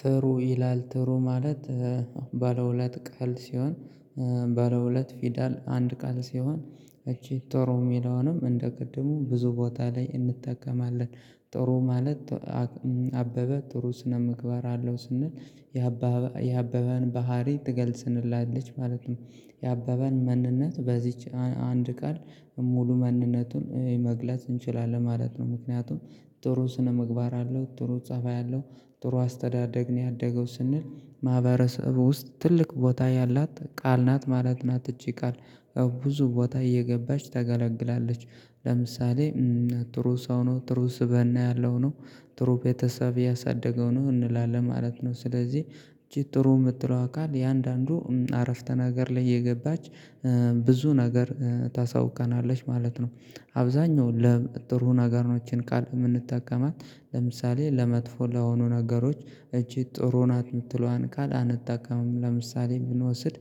ትሩ ይላል ትሩ ማለት ባለ ሁለት ቃል ሲሆን ባለ ሁለት ፊደል አንድ ቃል ሲሆን እቺ ጥሩ የሚለውንም እንደ ቅድሙ ብዙ ቦታ ላይ እንጠቀማለን ጥሩ ማለት አበበ ጥሩ ስነምግባር አለው ስንል የአበበን ባህሪ ትገልጽልናለች ማለት ነው። የአበበን ማንነት በዚች አንድ ቃል ሙሉ ማንነቱን መግለጽ እንችላለን ማለት ነው። ምክንያቱም ጥሩ ስነምግባር አለው፤ ጥሩ ፀባይ አለው፤ ጥሩ አስተዳደግ ነው ያደገው፤ ስንል ማህበረሰቡ ውስጥ ትልቅ ቦታ ያላት ቃል ናት ማለት ናት እቺ ቃል ብዙ ቦታ እየገባች ታገለግላለች ለምሳሌ ጥሩ ሰው ነው፤ ጥሩ ስብእና ያለው ነው፤ ጥሩ ቤተሰብ ያሳደገው ነው እንላለን ማለት ነው። ስለዚህ ጥሩ የምትለዋ ቃል እያንዳንዱ አረፍተ ነገር ላይ እየገባች ብዙ ነገር ታሳውቀናለች ማለት ነው። አብዛኛው ለጥሩ ነገር ነው ይቺን ቃል የምንጠቀማት። ለምሳሌ ለመጥፎ ለሆኑ ነገሮች እቺ ጥሩ ናት የምትለዋን ቃል አንጠቀምም። ለምሳሌ ብንወስድ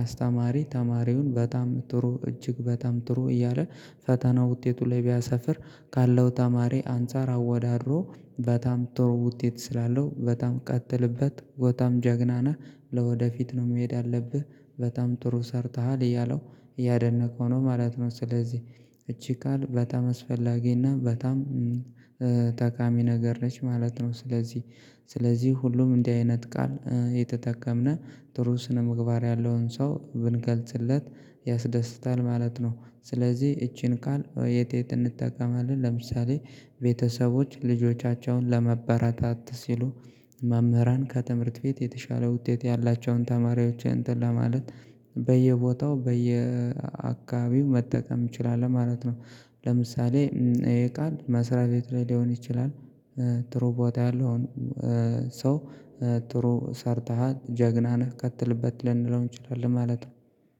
አስተማሪ ተማሪውን በጣም ጥሩ እጅግ በጣም ጥሩ እያለ ፈተና ውጤቱ ላይ ቢያሰፍር፤ ካለው ተማሪ አንፃር አወዳድሮ በጣም ጥሩ ውጤት ስላለው በጣም ቀጥልበት በጣም ጀግና ነህ ለወደፊት ነው መሄድ ያለብህ በጣም ጥሩ ሰርተሃል እያለው እያደነቀው ነው ማለት ነው። ስለዚህ እቺ ቃል በጣም አስፈላጊና በጣም ጠቃሚ ነገር ነች ማለት ነው። ስለዚህ ስለዚህ ሁሉም እንዲህ አይነት ቃል እየተጠቀምን ጥሩ ስነምግባር ያለውን ሰው ብንገልጽለት ያስደስታል ማለት ነው። ስለዚህ ይቺን ቃል የት የት እንጠቀማለን ለምሳሌ ቤተሰቦች ልጆቻቸውን ለማበርታት ሲሉ መምህራን ከትምህርት ቤት የተሻለ ውጤት ያላቸውን ተማሪዎች እንተን ለማለት በየቦታው በየአካባቢው መጠቀም እንችላለን ማለት ነው። ለምሳሌ ይሄ ቃል መስሪያ ቤት ላይ ሊሆን ይችላል፤ ጥሩ ቦታ ያለውን ሰው ጥሩ ሰርተሃል ጀግና ነህ ቀጥልበት ልንለው እንችላለን ማለት ነው።